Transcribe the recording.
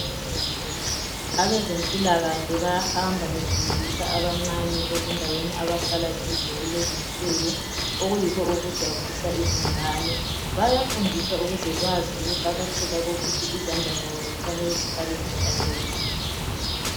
Abezempilakahle bayahamba befundisa abancane ezindaweni abahlala kizo kulezinsuku okuyikho okujabulisa izingane. Bayafundiswa ukuze bazi ukuqakatheka kokuthi izandla zabo zifanele ukuthi zihlale zihlanzekile.